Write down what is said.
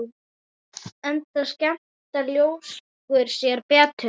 Enda skemmta ljóskur sér betur.